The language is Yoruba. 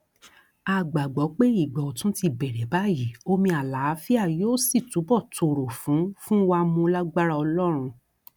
a gbàgbọ pé ìgbà ọtún ti bẹrẹ báyìí omi àlàáfíà yóò sì túbọ tòrò fún fún wa mú lágbára ọlọrun